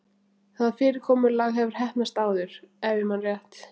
Það fyrirkomulag hefur heppnast áður- ef ég man rétt.